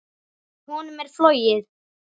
Honum er flogið.